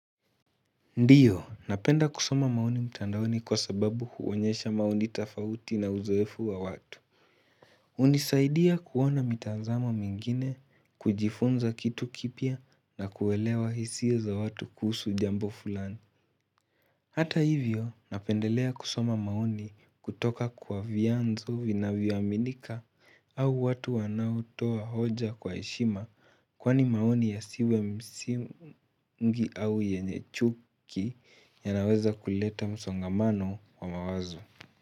Ndiyo, napenda kusoma maoni mtandaoni kwa sababu huonyesha maoni tofauti na uzoefu wa watu hunisaidia kuona mitazamo mingine, kujifunza kitu kipya na kuelewa hisia za watu kuhusu jambo fulani Hata hivyo, napendelea kusoma maoni kutoka kwa vyanzo vinavyo aminika au watu wanao toa hoja kwa heshima Kwani maoni yasiwe msingi au yenye chuki yanaweza kuleta msongamano wa mawazo.